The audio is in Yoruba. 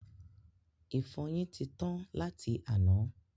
Ìfọyín ti tán láti àná